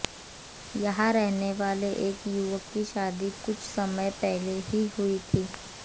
यहां रहने वाले एक युवक की शादी कुछ समय पहले ही हुई थी